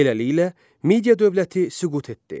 Beləliklə, Midiya dövləti süqut etdi.